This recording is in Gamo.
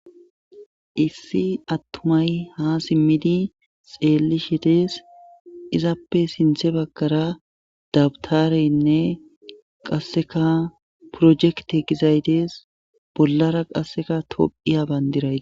Issi attumay ha simmidi xeelli shetes izappe sinthe baggara dabtareynne qasseka projekte gizaydees bollara qasseka topiyabandirayi.